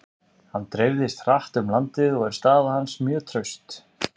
Hann dreifðist hratt um landið og er staða hans mjög traust.